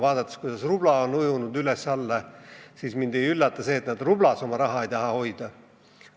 Vaadates, kuidas rubla on ujunud üles-alla, mind ei üllata, et nad rublades oma raha hoida ei taha.